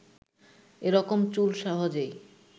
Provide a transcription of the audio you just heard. এরকম চুল সহজেই